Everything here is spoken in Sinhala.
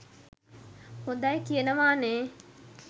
හොදයි කියනවා නේ.